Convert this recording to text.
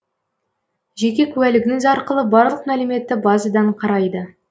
жеке куәлігіңіз арқылы барлық мәліметті базадан қарайды